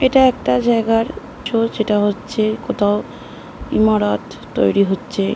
এটা একটা জায়গার শো যেটা হচ্ছে কোথাও ইমারত তৈরী হচ্চে।